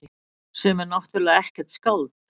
Sem er náttúrlega ekkert skáld.